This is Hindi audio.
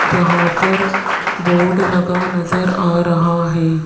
जहां पर बोर्ड लगा नजर आ रहा है।